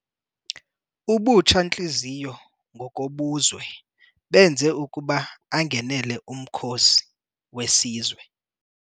Ubutsha-ntliziyo ngokobuzwe benze ukuba angenele umkhosi wesizwe.